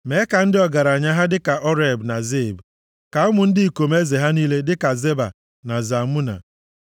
Mee ka ndị ọgaranya ha dịka Oreb na Zeeb, + 83:11 Ha bụ ndị eze, bụrụkwa ndị ọchịagha ndị Midia. Ha so na ndị Gidiọn meriri nʼagha, \+xt Nkp 7:25\+xt* ka ụmụ ndị ikom eze ha niile dịka Zeba na Zalmuna,